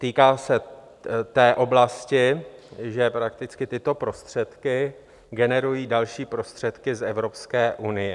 týká se té oblasti, že prakticky tyto prostředky generují další prostředky z Evropské unie.